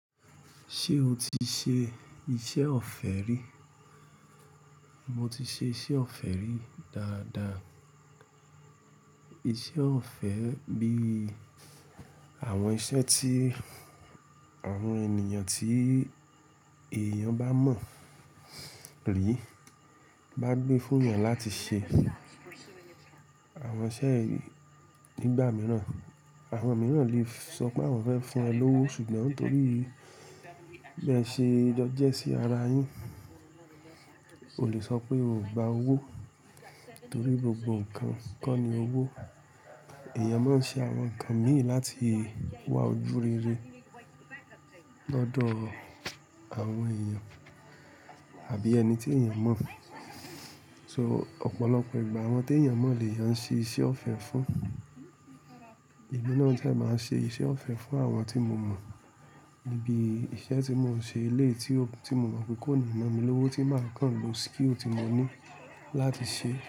Ṣé o ti ṣe iṣẹ́ ọ̀fẹ́ rí? Mo ti ṣe iṣẹ́ ọ̀fẹ́ rí dáadáa. Iṣẹ́ ọ̀fẹ́ bíi àwọn iṣẹ́ tí àwọn ènìyàn tí èèyàn bá mọ̀ rí bá gbé fún èèyàn láti ṣe. Àwọn iṣẹ́ yìí nígbà mìíràn, àwọn mìíràn lè sọ pé àwọn fẹ́ fún ẹ lówó ṣùgbọ́n ntorí bi ẹ ṣe jọ́jẹ́ sí ara yín, o lè sọ pé ò gba owó torí gbogbo ǹkan ko ni owó. Ẹ̀eyàn máa ń ṣe àwọn ǹkan mìí láti wá ojú rere lọ́dọ̀ àwọn èèyàn àbí ẹni tí èèyàn mọ̀. So ọ̀pọ̀lọpọ̀ ìgbà àwọn tí èèyàn mọ̀ lèeyàn ń ṣe iṣẹ́ ọ̀fẹ́ fún. Emí náà dẹ́ máa n ṣe iṣẹ́ ọ̀fẹ́ fún àwọn tí mo mọ̀ níbí iṣẹ́ tí mò ń ṣe eléyi tí mo mọ̀ pé kó ni náa mi lówó tí màá kàn lo skill tí mo ní láti ṣe.